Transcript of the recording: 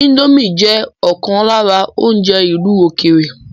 Índòmí jẹ ọkan lára oúnjẹ ìlú ókéré.